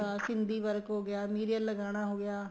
Sindhi work ਹੋ ਗਿਆ mirror ਲਗਾਣਾ ਹੋ ਗਿਆ